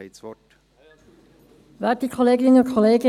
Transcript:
Sie haben das Wort.